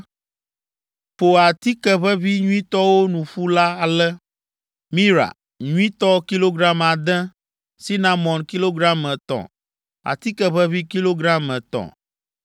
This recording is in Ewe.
“Ƒo atike ʋeʋĩ nyuitɔwo nu ƒu ale: ‘Mira’ nyuitɔ kilogram ade, ‘sinamon’ kilogram etɔ̃, atike ʋeʋĩ kilogram etɔ̃,